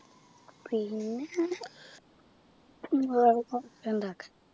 പിന്നെ ഉണ്ടാക്കാൻ